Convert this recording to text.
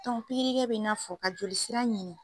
pikiri kɛ bi n'a fɔ ka joli sira ɲini.